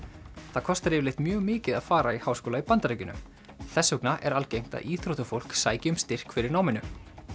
það er kostar yfirleitt mjög mikið að fara í háskóla í Bandaríkjunum þess vegna er algengt að íþróttafólk sæki um styrk fyrir náminu